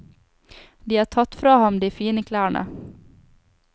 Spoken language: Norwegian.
De har tatt fra ham de fine klærne.